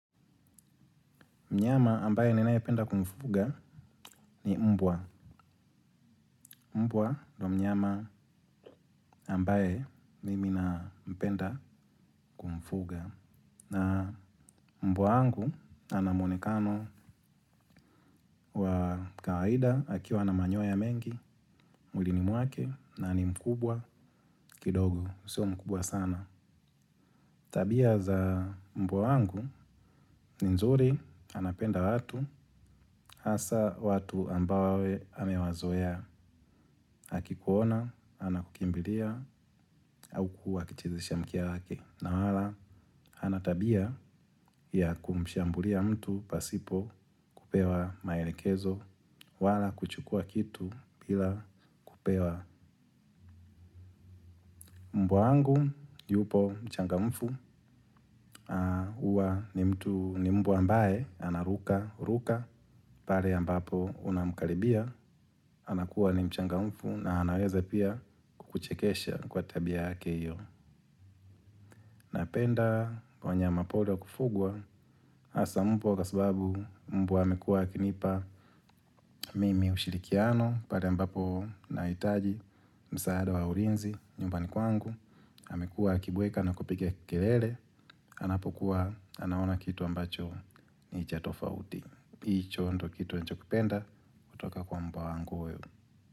Mnyama ambaye ninae penda kumfuga ni mbwa. Mbwa ndo mnyama ambaye mimi nampenda kumfuga. Na mbwa angu anamuonekano wakaida akiwa na manyoya mengi, muilini muake na ni mkubwa kidogo, sio mkubwa sana. Tabia za mbwa wangu ni nzuri anapenda watu hasa watu ambawe amewazoeya. Haki kuona, anakukimbilia au kuwa kichizesha mkia hake na wala anatabia ya kumshambulia mtu pasipo kupewa maelekezo wala kuchukua kitu bila kupewa mbuangu, yupo mchangamfu uwa ni mtu ni mbwu ambaye, ana ruka ruka, pale ambapo unamkaribia, anakuwa ni mchangamfu na anaweza pia kukuchekesha kwa tabia yake iyo. Napenda wanyama pori wa kufugwa asa mbua kua sababu mbua hamekua akinipa. Mimi ushirikiano pale ambapo naitaji msaada wa ulinzi nyumbani kwangu. Hamekua akibweka na kupika kelele. Anapokuwa anaona kitu ambacho ni cha tofauti. Hicho ndiyo kitu ninachokipenda kutoka kwa mbwa wangu huyu.